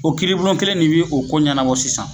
O kiiribulon kelen ne bi o ko ɲɛnabɔ sisan